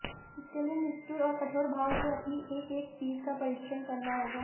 इसके लिए निष्ठुर और कठोर भाव से अपनी एक एक चीज का परीक्षण करना होगा